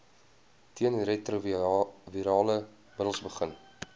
teenretrovirale middels begin